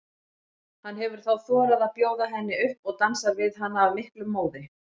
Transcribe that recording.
Hann hefur þá þorað að bjóða henni upp og dansar við hana af miklum móði.